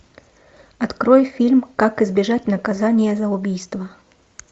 открой фильм как избежать наказание за убийство